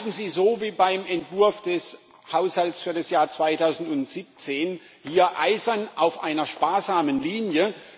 Bleiben Sie so wie beim Entwurf des Haushalts für das Jahr 2017 hier eisern auf einer sparsamen Linie.